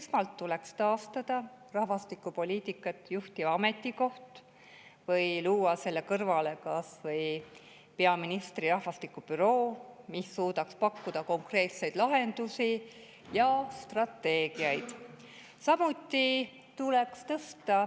Esmalt tuleks taastada rahvastikupoliitikat juhtiv ametikoht või luua selle kõrvale kas või peaministri rahvastikubüroo, mis suudaks pakkuda konkreetseid lahendusi ja strateegiaid.